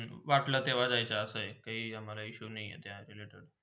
वाटला तेव्हा जायाचा असा आहे, काही आम्हाला issue नाय